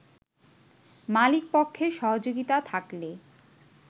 মালিকপক্ষের সহযোগিতা থাকলে